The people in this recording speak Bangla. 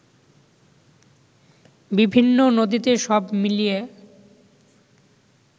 বিভিন্ন নদীতে সব মিলিয়ে